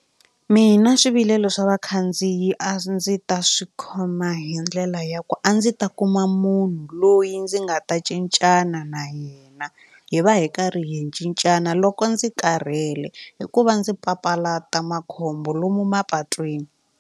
Mina swivilelo swa vakhandziyi a ndzi ta swi khoma hi ndlela ya ku a ndzi ta kuma munhu loyi ndzi nga ta cincana na yena hi va hi karhi hi cincana loko ndzi karhele hikuva ndzi papalata makhombo lomu mapatwini.